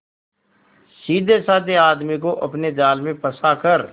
सीधेसाधे आदमी को अपने जाल में फंसा कर